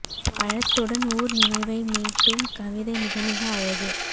பழத்துடன் ஊர் நினைவைக் மீட்டும் கவிதை மிகமிக அழகு